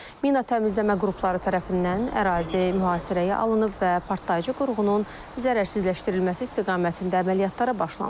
Mina təmizləmə qrupları tərəfindən ərazi mühasirəyə alınıb və partlayıcı qurğunun zərərsizləşdirilməsi istiqamətində əməliyyatlara başlanılıb.